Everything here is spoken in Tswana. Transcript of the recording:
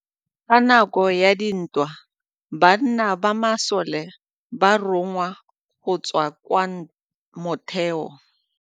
Ka nakô ya dintwa banna ba masole ba rongwa go tswa kwa mothêô.